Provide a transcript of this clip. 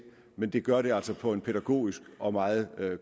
men det gør det altså på en pædagogisk og meget